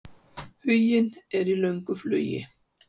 Huginn er í löngu flugi.